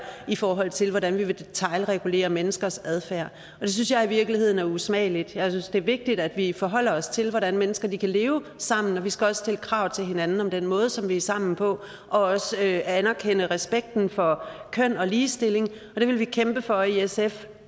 i forhold til hvordan vi vil detailregulere menneskers adfærd og det synes jeg i virkeligheden er usmageligt jeg synes det er vigtigt at vi forholder os til hvordan mennesker kan leve sammen vi skal også stille krav til hinanden om den måde som vi er sammen på og også anerkende respekt for køn og ligestilling og det vil vi kæmpe for i sf